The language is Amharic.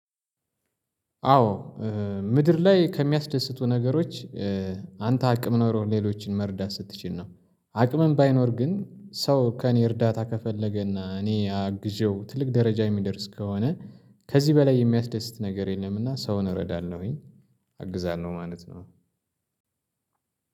አዎ ምድር ላይ ከሚያስደስቱ ነገሮች አንተ አቅም ኖሮ ሌሎችን መርዳት ስትችል ነው። አቅምም ባይኖር ግን ሰው ከእኔ እርዳታ ከፈለገና እኔ አግዤው ትልቅ ደረጃ የሚደርስ ከሆነ። ከዚህ በላይ የሚያስደስት ነገር የለም። እና ሰውን እረዳናለሁኝ። አግዛለሁ ማለት ነው።